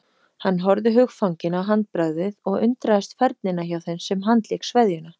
Hann horfði hugfanginn á handbragðið og undraðist færnina hjá þeim sem handlék sveðjuna.